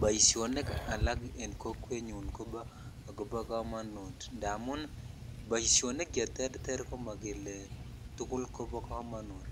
Boishonik alak en kokwetnyun kobo kammonutindamun boishonik cheterter komokele tukul kobo kamonut